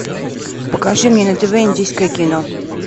покажи мне на тв индийское кино